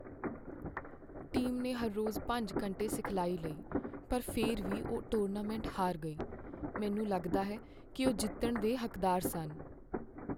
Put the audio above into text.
team ਨੇ ਹਰ ਰੋਜ਼ ਪੰਜ ਘੰਟੇ ਸਿਖਲਾਈ ਲਈ ਪਰ ਫਿਰ ਵੀ ਉਹ ਟੂਰਨਾਮੈਂਟ ਹਾਰ ਗਈ ਮੈਨੂੰ ਲੱਗਦਾ ਹੈ ਕੀ ਉਹ ਜਿੱਤਣ ਦੇ ਹੱਕਦੋਂਾਰ ਸਨ